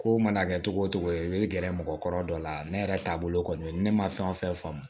Ko mana kɛ cogo o cogo i bɛ gɛrɛ mɔgɔkɔrɔ dɔ la ne yɛrɛ taabolo kɔni ne ma fɛn o fɛn faamu